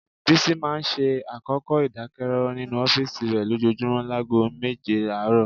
Bísí máa ń ṣe àkókò ìdákẹ́rọ́rọ́ nínú ọ́fíìsì rẹ lójoojúmọ́ láago méje àárọ̀